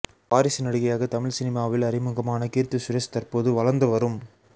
வாரிசு நடிகையாக தமிழ் சினிமாவில் அறிமுகமான கீர்த்தி சுரேஷ் தற்போது வளர்ந்துவரும்